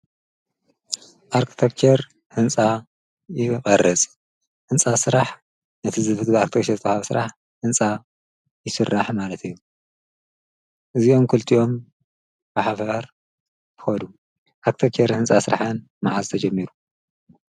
አርክቴክቸር ህንፃ ይመርፅ ህንፃ ስራሕ ነቲ ብአርክቴከቸር ዝተወሃብ ህንፃ ይስራሕ ማለት እዩ። እዚኦም ክልቲኦም ብሓባር ይከዱ ። አርክቴክቸር ህንፃ ስራሕ ማዓዝ ተጀሚሩ?